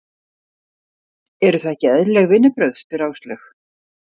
Eru það ekki eðlileg vinnubrögð? spyr Áslaug.